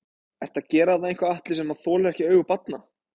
Ertu að gera þarna eitthvað Atli sem að þolir ekki augu barna?